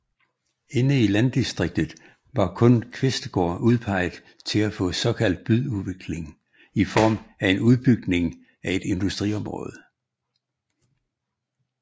Inde i landdistriktet var kun Kvistgaard udpeget til at få såkaldt byudvikling i form af en udbygning af et industriområde